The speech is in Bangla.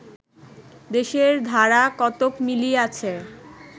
দেশের ধারা কতক মিলিয়াছে